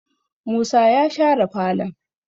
musa ya share falon?